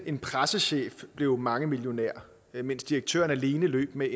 en pressechef blev mangemillionær mens direktøren alene løb med